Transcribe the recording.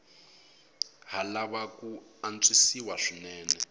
ha lava ku antswisiwa swinene